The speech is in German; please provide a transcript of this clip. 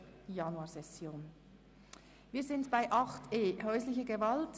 Wir kommen nun beim Themenblock 8.e, Häusliche Gewalt.